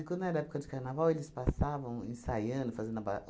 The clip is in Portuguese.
E quando era época de carnaval, eles passavam ensaiando, fazendo a ba